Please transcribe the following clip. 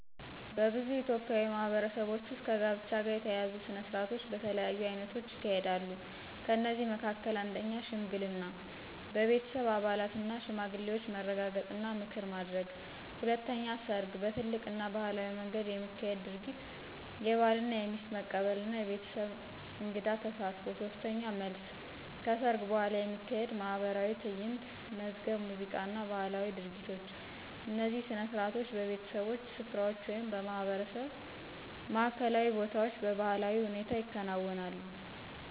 በብዙ ኢትዮጵያዊ ማህበረሰቦች ውስጥ ከጋብቻ ጋር የተያያዙ ሥነ ሥርዓቶች በተለያዩ አይነቶች ይካሄዳሉ። ከእነዚህ መካከል፦ 1. ሽምግልና – በቤተሰብ አባላትና ሽማግሌዎች መረጋገጥ እና ምክር ማድረግ። 2. ሰርግ – በትልቅ እና ባህላዊ መንገድ የሚካሄድ ድርጊት፣ የባልና የሚስት መቀበል እና የቤተሰብ እንግድ ተሳትፎ። 3. መልስ – ሰርግ በኋላ የሚካሄድ ማኅበራዊ ትዕይንት፣ መዝገብ ሙዚቃ እና ባህላዊ ድርጊቶች። እነዚህ ሥነ ሥርዓቶች በቤተሰቦች ስፍራዎች ወይም በማህበረሰብ ማዕከላዊ ቦታዎች በባህላዊ ሁኔታ ይከናወናሉ።